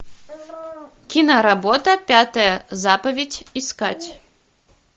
киноработа пятая заповедь искать